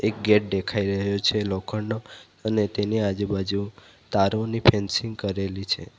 Gate દેખાઈ રહ્યો છે લોખંડનો અને તેની આજુબાજુ તારો ની ફેન્સીંગ કરેલી છે.